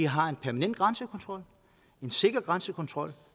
har en permanent grænsekontrol en sikker grænsekontrol